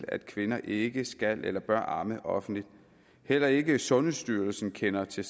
at kvinder ikke skal eller bør amme offentligt heller ikke sundhedsstyrelsen kender til